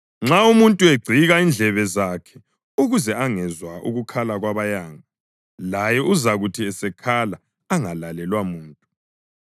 Nxa umuntu egcika indlebe zakhe ukuze angezwa ukukhala kwabayanga, laye uzakuthi esekhala angalalelwa muntu.